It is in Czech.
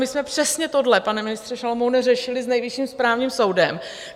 My jsme přesně tohle, pane ministře Šalomoune, řešili s Nejvyšším správním soudem.